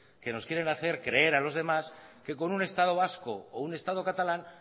que nos quieren hacer creer a los demás que con un estado vasco o un estado catalán